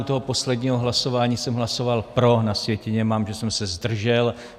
U toho posledního hlasování jsem hlasoval pro, na sjetině mám, že jsem se zdržel.